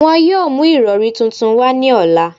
Wọn yoo mu irọri tuntun wa ni ọla